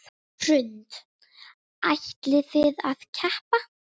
Hrund: Ætlið þið að keppa?